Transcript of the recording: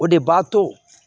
O de b'a to